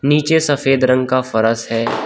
नीचे सफेद रंग का फर्श है।